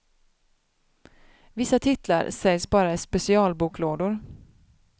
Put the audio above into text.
Vissa titlar säljs bara i specialboklådor.